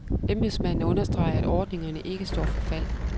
Embedsmanden understreger, at ordningerne ikke står for fald.